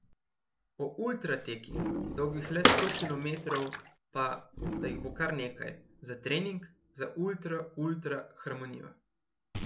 O ultra tekih, dolgih le sto kilometrov, pa, da jih bo kar nekaj, za trening, za ultra ultra harmonijo.